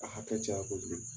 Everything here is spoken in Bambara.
a hakɛ caya kojugu